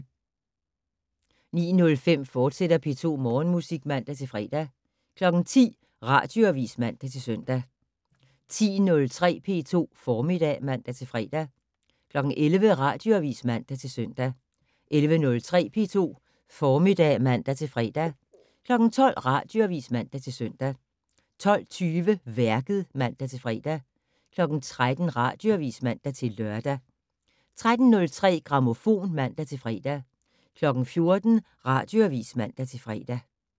09:05: P2 Morgenmusik, fortsat (man-fre) 10:00: Radioavis (man-søn) 10:03: P2 Formiddag (man-fre) 11:00: Radioavis (man-søn) 11:03: P2 Formiddag (man-fre) 12:00: Radioavis (man-søn) 12:20: Værket (man-fre) 13:00: Radioavis (man-lør) 13:03: Grammofon (man-fre) 14:00: Radioavis (man-fre)